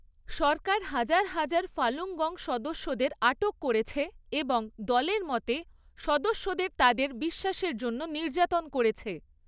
সরকার হাজার হাজার Falun Gong সদস্যদের আটক করেছে এবং দলের মতে, সদস্যদের তাদের বিশ্বাসের জন্য নির্যাতন করেছে।